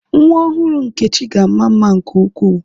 Nwa ọhụrụ Nkechi ga-ama mma nke ukwuu.